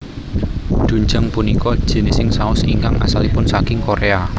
Doenjang punika jinising saos ingkang asalipun saking Korea